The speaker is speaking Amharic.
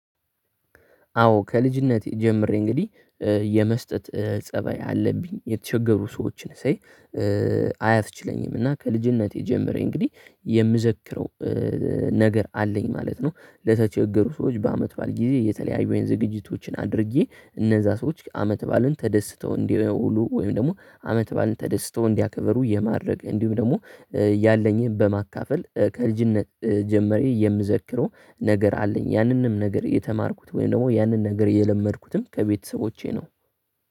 አዎ ከልጅነቴ ጀምሬ እንግዲህ የመስጠት ፀባይ አለብኝ የተቸገሩ ሰዎችን ሳይ አያስችለኝም እና ከልጅነቴ ጀምሬ እንግዲህ የምዘክረው ነገር አለኝ ማለት ነው። ለተቸገሩ ሰዎች በአመት ባል ጊዜ የተለያዩኝን ዝግጅቶችን አድርጌ እነዛ ሰዎች አመት ባልን ተደስተው እንዲውሉ ወይም ደግሞ አመት ባልን ተደስተው እንዲያከበሩ የማድረግ እንዲሁም ደግሞ ያለኝን በማካፈል ከልጅነት ጀምረኝ የምዘክረው ነገር አለኝ ያንንም ነገር የተማርኩት ወይም ደግሞ ያንን ነገር የለመድኩትም ከቤተሰቦቼ ነው።